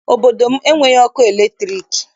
Obodo m enweghị ọkụ latriki